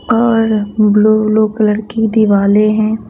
और blue blue colour की दिवाले हैं।